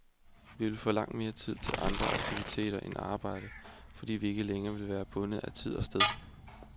Vi vil få langt mere tid til andre aktiviteter end arbejde, fordi vi ikke længere vil være bundet af tid og sted.